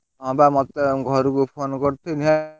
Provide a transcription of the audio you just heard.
ହଁ ବା ମତେ ଘରକୁ phone କରିଥିଲେ।